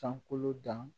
Sankolo dan